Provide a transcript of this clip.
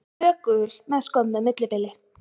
Tvö gul með skömmu millibili.